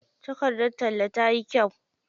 Takardar tallan tayi kyau.